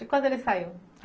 E quando ele saiu?